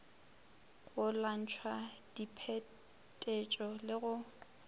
go lwantšha diphetetšo le go